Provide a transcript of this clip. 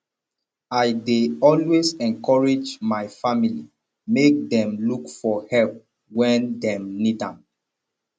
i dey always encourage my family make dem look for help wen dem need am